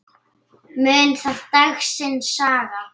Mun það dagsins saga.